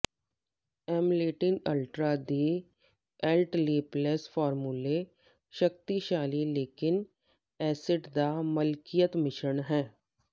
ਐਮਲੇਟਿਨ ultra ਦੇ ਅਲਟਲੇਪਲੈਕਸ ਫਾਰਮੂਲੇ ਸ਼ਕਤੀਸ਼ਾਲੀ ਲੈਂਕਿਕ ਐਸਿਡ ਦਾ ਮਲਕੀਅਤ ਮਿਸ਼ਰਣ ਹੈ